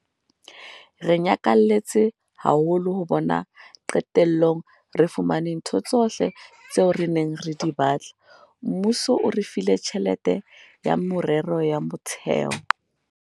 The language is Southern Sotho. "Re nyakalletse haholo hobane qetellong re fumane ntho tsohle tseo re neng re di batla. Mmuso o re file tjhelete ya meralo ya motheo."